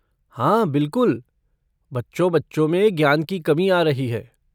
हाँ, बिलकुल, बच्चों बच्चों के ज्ञान में कमी आ रही है।